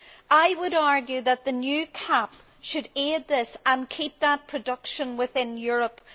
I would argue that the new CAP should aid this and keep that production within Europe.